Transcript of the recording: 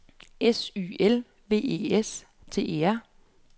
S Y L V E S T E R